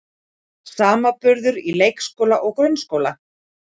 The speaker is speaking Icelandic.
Samanburður á leikskóla og grunnskóla